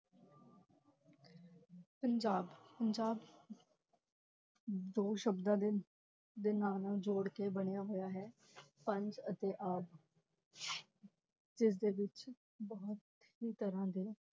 ਪੰਜਾਬ ਪੰਜਾਬ ਦੋ ਸ਼ਬਦਾਂ ਦੇ, ਦੇ ਨਾਂ ਨਾਲ ਜੋੜ ਕੇ ਬਣਿਆ ਹੋਇਆ ਹੈ, ਪੰਜ ਅਤੇ ਆਬ ਜਿਸਦੇ ਵਿੱਚ ਬਹੁਤ ਹੀ ਤਰ੍ਹਾਂ ਦੇ